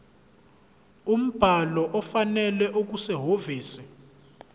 umbhalo ofanele okusehhovisi